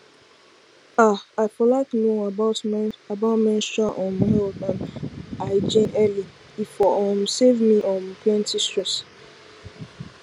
ah i for like know about menstrual um health and hygiene earlye for um save me um plenty stress